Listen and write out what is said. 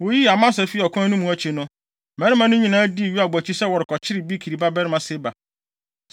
Woyii Amasa fii ɔkwan no mu akyi no, mmarima no nyinaa dii Yoab akyi sɛ wɔrekɔkyere Bikri babarima Seba.